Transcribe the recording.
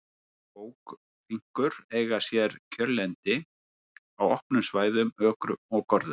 Bókfinkur eiga sér kjörlendi á opnum svæðum, ökrum og görðum.